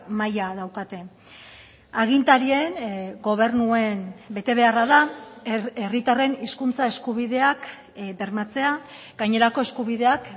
maila daukate agintarien gobernuen betebeharra da herritarren hizkuntza eskubideak bermatzea gainerako eskubideak